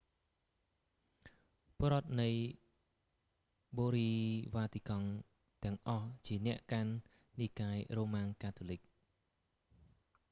ពលរដ្ឋនៃបូរីវ៉ាទីកង់ទាំងអស់ជា អ្នកកាន់និកាយរ៉ូម៉ាំងកាតូលិក